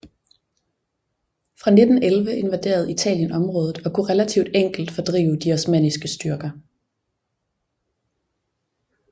Fra 1911 invaderede Italien området og kunne relativt enkelt fordrive de osmanniske styrker